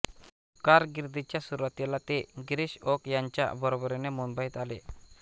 कारकिर्दीच्या सुरुवातीला ते गिरीश ओक यांच्या बरोबरीने मुंबईत आले